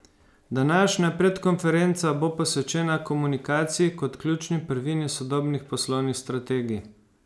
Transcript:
Današnja predkonferenca bo posvečena komunikaciji kot ključni prvini sodobnih poslovnih strategij.